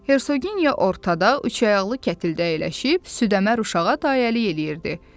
Hersoginya ortada üçayaqlı kətildə əyləşib südəmir uşağa dayəlik eləyirdi.